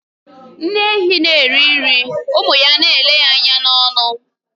Nne ehi na eri nri, ụmụ ya n'ele ya anya n'ọnụ.